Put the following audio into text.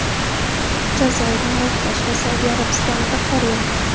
Jazoir, Marokash va Saudiya Arabistonida qor yog‘di.